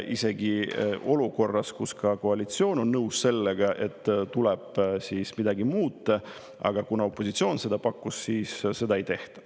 Isegi olukorras, kus ka koalitsioon on nõus sellega, et tuleb midagi muuta, aga kuna opositsioon seda pakkus, siis seda ei tehta.